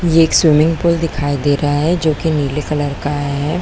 ये एक swimming pool दिखाई दे रहा है जो की नीले कलर का है।